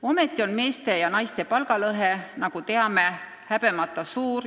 Ometi on meeste ja naiste palgalõhe, nagu teame, häbemata suur.